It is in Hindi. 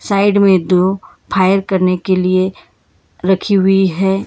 साइड में दो फायर करने के लिए रखी हुई हैं।